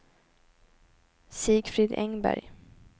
Sigfrid Engberg